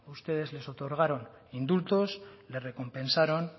ustedes les otorgaron indultos les recompensaron